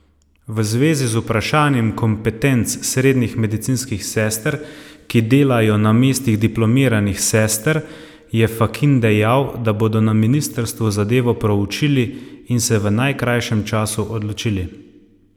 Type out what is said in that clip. V zvezi z vprašanjem kompetenc srednjih medicinskih sester, ki delajo na mestih diplomiranih sester, je Fakin dejal, da bodo na ministrstvu zadevo proučili in se v najkrajšem času odločili.